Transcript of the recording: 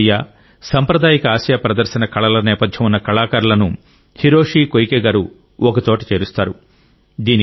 శాస్త్రీయ సాంప్రదాయిక ఆసియా ప్రదర్శన కళల నేపథ్యం ఉన్న కళాకారులను హిరోషి కోయికేగారు ఒకచోట చేరుస్తారు